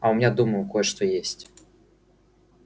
а у меня дома кое-что есть